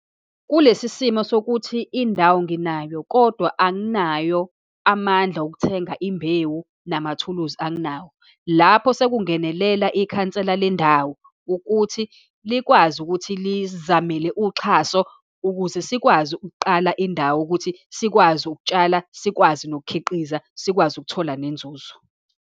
Kulesi simo sokuthi indawo nginayo, kodwa anginayo amandla okuthenga imbewu, namathuluzi anginawo. Lapho sekungenelela ikhansela lendawo, ukuthi likwazi ukuthi lisizamele uxhaso ukuze sikwazi ukuqala indawo, ukuthi sikwazi ukutshala, sikwazi nokukhiqiza, sikwazi ukuthola nenzuzo.